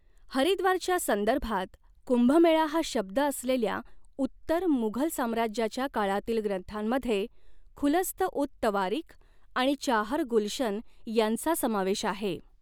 हरिद्वारच्या संदर्भात 'कुंभमेळा' हा शब्द असलेल्या उत्तर मुघल साम्राज्याच्या काळातील ग्रंथांमध्ये खुलस्त उत तवारीख आणि चाहर गुलशन यांचा समावेश आहे.